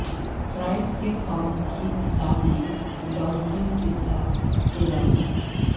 fried کے خواب کی کتاب میں ڈالفن کے ساتھ تیراکی